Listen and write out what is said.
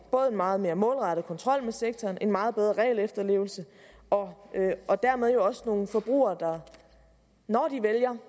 meget mere målrettet kontrol med sektoren og en meget bedre regelefterlevelse og og dermed jo også nogle forbrugere der når de vælger